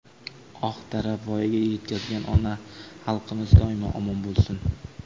oq tarab voyaga yetkazgan ona xalqimiz doimo omon bo‘lsin!.